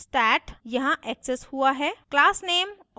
static function stat यहाँ accessed हुआ है